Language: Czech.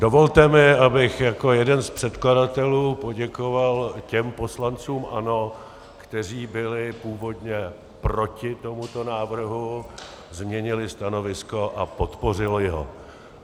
Dovolte mi, abych jako jeden z předkladatelů poděkoval těm poslancům ANO, kteří byli původně proti tomuto návrhu, změnili stanovisko a podpořili ho.